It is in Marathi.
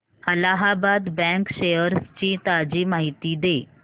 अलाहाबाद बँक शेअर्स ची ताजी माहिती दे